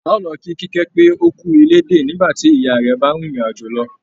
A ó lọ kí Kíkẹ́ pé ókú ilédè nígbàtí ìyá rẹ̀ bá rìn ìrìn àjò lọ